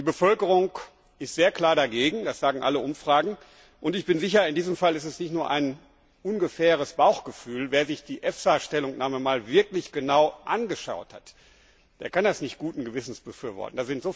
Die Bevölkerung ist sehr klar dagegen das sagen alle Umfragen und ich bin sicher, dass es in diesem Fall nicht nur ein ungefähres Bauchgefühl ist Wer sich die EFSA Stellungnahme wirklich einmal genau angeschaut hat, der kann das nicht guten Gewissens befürworten!